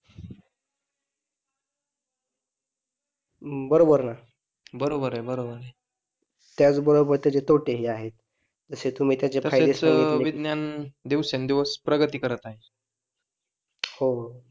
बरोबर ना, बरोबर आहे बरोबर आहे त्याच बरोबर त्याचे तोटे हि आहेत, ते तुम्ही दिवसेंदिवस प्रगती करत आहे हो.